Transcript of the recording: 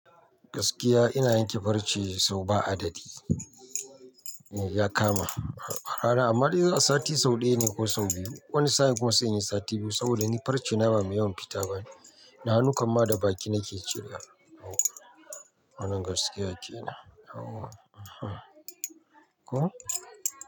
Gaskiya ina yanke farce sau ba adadi. Ya kama a rana, amma dai a sati sau ɗaya ne ko sau biyu. Wani sa'in kuma sai in yi sati biyu saboda ni farce na ba mai yawan fita ba ne. Na hannu kam ma da baki nake cire. Wannan gaskiya kenan yawa. Ko?